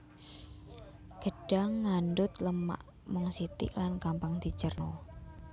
Gedhang ngandhut lemak mung sithik lan gampang dicérna